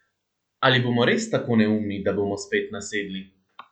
Ali bomo res tako neumni, da bomo spet nasedli?